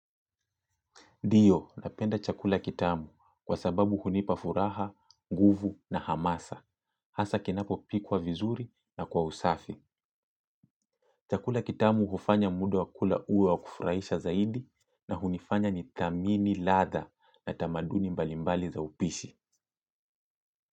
Ndio, napenda chakula kitamu kwa sababu hunipa furaha, nguvu na hamasa. Hasa kinapo pikwa vizuri na kwa usafi. Chakula kitamu hufanya muda wa kula uwe wa kufurahisha zaidi na hunifanya nithamini, ladha na tamaduni mbali mbali za upishi.